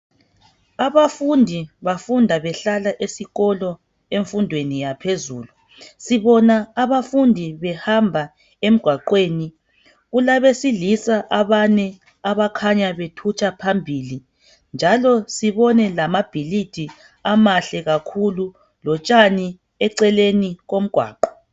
Abafundi bafunda behlala esikolo emfundweni yaphezulu sibona abafundi behamba emgwaqweni kulabesilisa abane abakhanya bethutsha phambili, njalo sibone lamabhilidi amahle kakhulu lotshani eceleni komgwaqo.